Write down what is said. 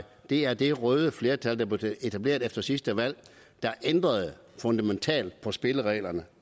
det er det røde flertal der blev etableret efter sidste valg der ændrede fundamentalt på spillereglerne